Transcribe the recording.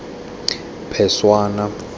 phešwana